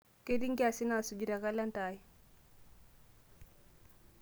ketii nkiasin naasuju te kalenda ai